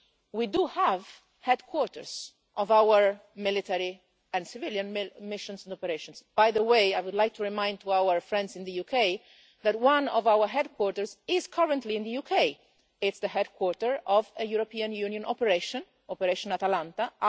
We do have headquarters of our military and civilian missions and operations and, by the way, I would like to remind our friends in the UK that one of our headquarters is currently in the UK. It is the headquarters of the European Union's Operation Atalanta.